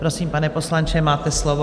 Prosím, pane poslanče, máte slovo.